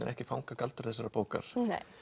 ekki fanga galdur þessarar bókar